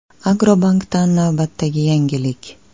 Agrobankdan navbatdagi yangilik!.